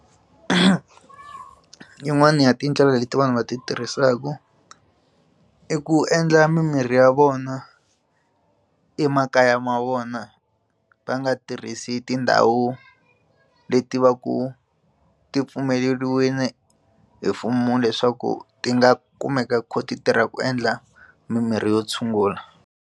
Yin'wana ya tindlela leti vanhu va ti tirhisaka i ku endla mimirhi ya vona emakaya ma vona va nga tirhisi tindhawu leti va ku ti pfumeleriwini hi mfumo leswaku ti nga kumeka ti kha ti tirha ku endla mimirhi yo tshungula.